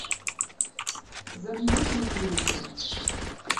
замьють на телике